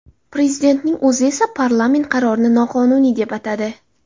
Prezidentning o‘zi esa parlament qarorini noqonuniy deb atadi.